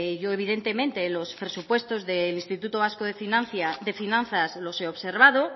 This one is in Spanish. yo evidentemente en los presupuestos del instituto vasco de finanzas los he observado